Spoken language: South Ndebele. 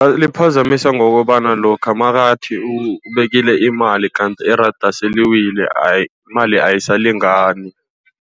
Liphazamisa ngokobana lokha nakathi ubekile imali, kandi iranda seliwile imali ayisalingani.